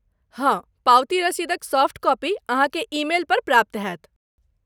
हँ, पावती रसीदक सॉफ्ट कॉपी अहाँकेँ ई मेल पर प्राप्त होयत।